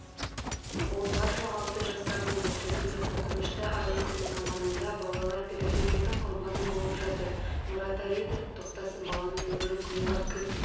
ол бар-жоғы алты жаста болды трагедия қорқынышты айлы күннің аманында балалар педофилдердің құрбаны болып жатыр мораториді тоқтатсын баланың өмірін қиюға кім